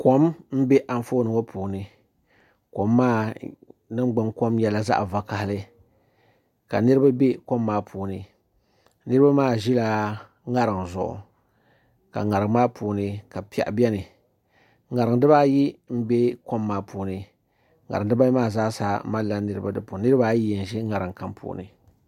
Kom n bɛ Anfooni ŋo puuni kom maa ningbuni kom nyɛla zaɣ vakaɣali ka niraba bɛ kom maa puuni niraba ma ʒila ŋarim zuɣu ka ŋarim maa puuni ka piɛɣu biɛni ŋarim dibayi n bɛ kom maa puuni ŋarim dibayi maa zaasa malila niraba di puuni niraba ayi yi n ʒi ŋarim kam puuni